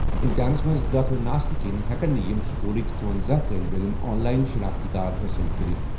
اِمتحانَس منٛز دٲخلہٕ نہٕ آسنہٕ کِنہِ ہٮ۪کَن نہٕ یِم سکوٗلٕکۍ ژوٚوَنٛزاہ طٲلبہِ عٔلِم آن لایِن شناختی کارڈ حٲصِل کٔرِتھ۔